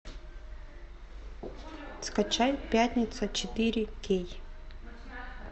скачай пятница четыре кей